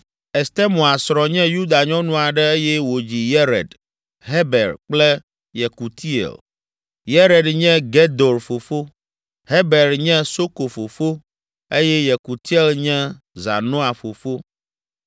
Estemoa srɔ̃ nye Yuda nyɔnu aɖe eye wòdzi Yered, Heber kple Yekutiel. Yered nye Gedor fofo, Heber nye Soko fofo eye Yekutiel nye Zanoah fofo.